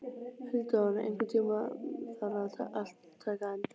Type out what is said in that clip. Eldon, einhvern tímann þarf allt að taka enda.